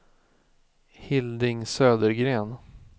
Hilding Södergren